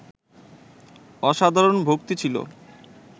অসাধারণ ভক্তি ছিল